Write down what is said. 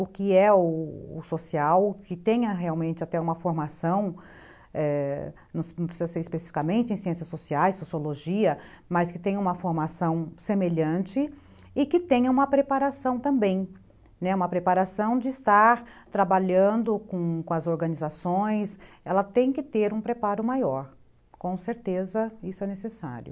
o que é o social, que tenha realmente até uma formação, é... não precisa ser especificamente em ciências sociais, sociologia, mas que tenha uma formação semelhante e que tenha uma preparação também, né, uma preparação de estar trabalhando com as organizações, ela tem que ter um preparo maior, com certeza isso é necessário.